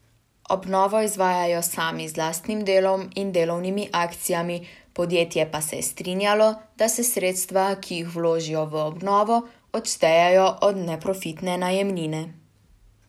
Obnovo izvajajo sami z lastnim delom in delovnimi akcijami, podjetje pa se je strinjalo, da se sredstva, ki jih vložijo v obnovo, odštejejo od neprofitne najemnine.